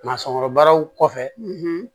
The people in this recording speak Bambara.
Masɔnkɔrɔbaraw kɔfɛ